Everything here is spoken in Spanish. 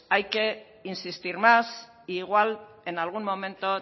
hay que insistir más e igual en algún momento